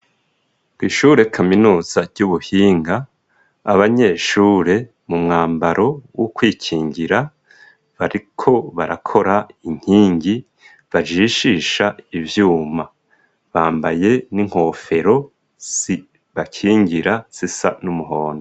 Kw'ishure kaminuza ry'ubuhinga, abanyeshure mu mwambaro wo kwikingira, bariko barakora inkingi, bajishisha ivyuma, bambaye n'inkofero zibakingira zisa n'umuhondo.